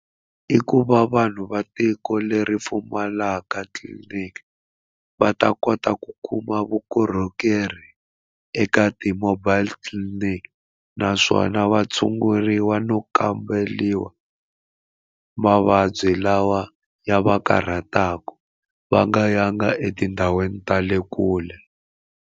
I ku va vanhu va tiko leri pfumalaka tliliniki va ta kota ku kuma vukorhokeri eka ti-mobile clinic naswona va tshunguriwa no kamberiwa mavabyi lawa ya va karhataka va nga yanga etindhawini ta le kule.